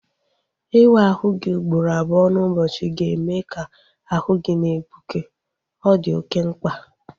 Iwu ahụ gị ugboro abụọ n'ụbọchị ga-eme ka ahu gị na-egbuke. Ọ di oké mkpa